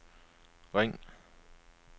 ring